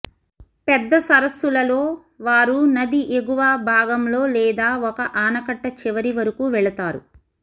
పెద్ద సరస్సులలో వారు నది ఎగువ భాగంలో లేదా ఒక ఆనకట్ట చివరి వరకు వెళుతారు